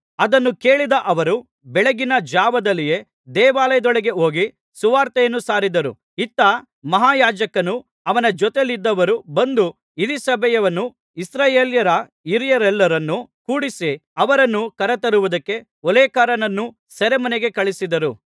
ಅದನ್ನು ಕೇಳಿದ ಅವರು ಬೆಳಗಿನ ಜಾವದಲ್ಲಿಯೇ ದೇವಾಲಯದೊಳಗೆ ಹೋಗಿ ಸುವಾರ್ತೆಯನ್ನು ಸಾರಿದರು ಇತ್ತ ಮಹಾಯಾಜಕನೂ ಅವನ ಜೊತೆಯಲ್ಲಿದ್ದವರೂ ಬಂದು ಹಿರೀಸಭೆಯನ್ನೂ ಇಸ್ರಾಯೇಲ್ಯರ ಹಿರಿಯರೆಲ್ಲರನ್ನೂ ಕೂಡಿಸಿ ಅವರನ್ನು ಕರತರುವುದಕ್ಕೆ ಓಲೇಕಾರರನ್ನು ಸೆರೆಮನೆಗೆ ಕಳುಹಿಸಿದರು